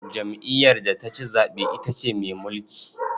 Jam'iyyar da ta ci zaɓe ita ce mai mulki.